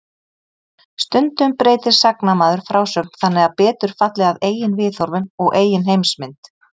Stundum breytir sagnamaður frásögn þannig að betur falli að eigin viðhorfum og eigin heimsmynd.